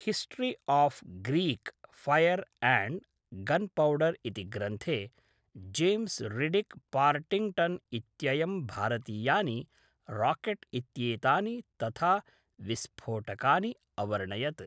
History of Greek fire and gunpowder इति ग्रन्थे James Riddick Partington इत्ययं भारतीयानि राकेट् इत्येतानि तथा विस्फोटकानि अवर्णयत्।